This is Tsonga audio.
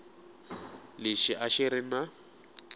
lexi a xi ri na